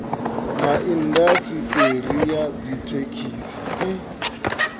ha indasiṱeri ya dzithekhisi ha